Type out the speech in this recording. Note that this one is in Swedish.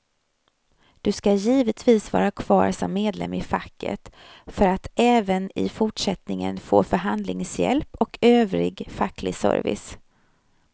Du ska givetvis vara kvar som medlem i facket för att även i fortsättningen få förhandlingshjälp och övrig facklig service.